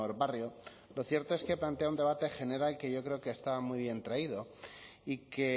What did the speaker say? barrio lo cierto es que plantea un debate general que yo creo que estaba muy bien traído y que